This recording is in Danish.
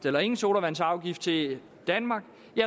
eller ingen sodavandsafgift til danmark